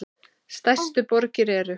Stærstu borgir eru